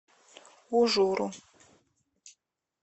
ужуру